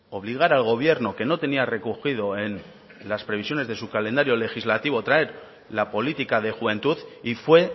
obligar al gobierno que no tenía recogido en las previsiones de su calendario legislativo traer la política de juventud y fue